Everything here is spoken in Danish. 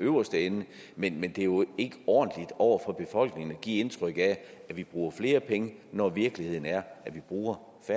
øverste ende men det er jo ikke ordentligt over for befolkningen at give indtryk af at vi bruger flere penge når virkeligheden er at vi bruger færre